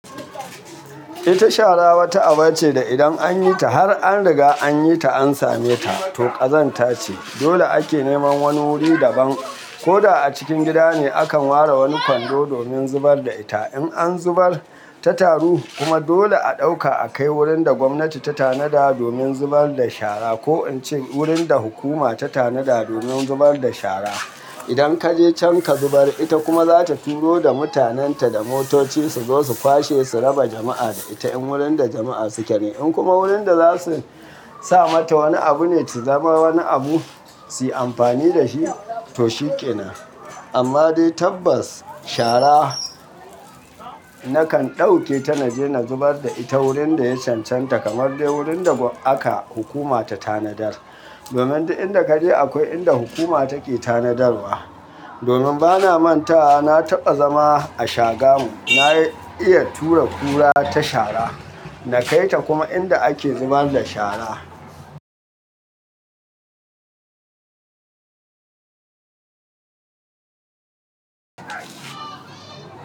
Ita shara wata aba ce da idan an yi ta har an riga an yi ta an same ta, to ƙazanta ce. Dole ake neman wani wuri daban ko da a cikin gida ne akan ware wani kwando domin zubar da ita. In an zubar ta taru kuma dole a ɗauka a kai wurin da gwamnati ta tanada domin zubar da shara ko in ce wurin da hukuma ta tanada domin zubar da shara. Idan kaje can ka zubar ita kuma zata turo da mutanen ta da motoci su zo su kwashe su raba jama'a da ita in wurin da jama'a suke ne. In kuma wurin da za su sa mata wani abu ne, ta zama wani abu su yi amfani da shi, to shikenan. Amma dai tabbas shara nakan ɗauke ta na je na zubar da ita wurin da ya cancanta kamar dai wurin da aka hukuma ta tanadar. Domin duk inda kaje akwai inda hukuma take tanadarwa. Domin bana manta na taɓa zama a Shagamu, na iya tura kura ta shara. Na kai ta kuma inda ake zubar da shara.